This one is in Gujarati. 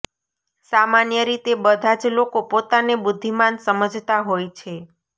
સામાન્ય રીતે બધા જ લોકો પોતાને બુદ્ધિમાન સમજતા હોય છે